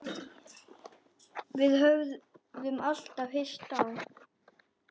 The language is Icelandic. Við höfðum alltaf hist á